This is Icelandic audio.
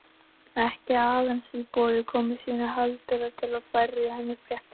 Ekki aðeins til að boða komu sína heldur líka til að færa henni fréttir.